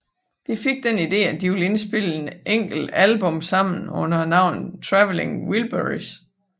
De fik den ide at de ville indspille et enkelt album sammen under navnet Traveling Wilburys